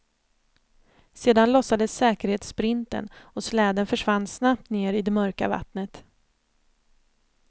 Sedan lossades säkerhetssprinten och släden försvann snabbt ner i det mörka vattnet.